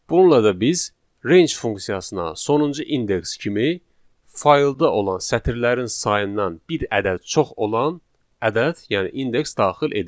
Bununla da biz range funksiyasına sonuncu indeks kimi faylda olan sətirlərin sayından bir ədəd çox olan ədəd, yəni indeks daxil edirik.